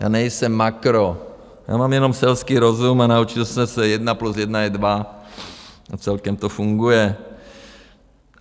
Já nejsem makro, já mám jenom selský rozum a naučil jsem se jedna plus jedna je dva a celkem to funguje.